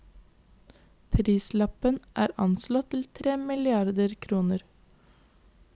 Prislappen er anslått til tre milliarder kroner.